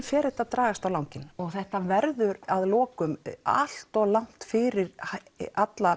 fer þetta að dragast á langinn og þetta verður að lokum allt of langt fyrir alla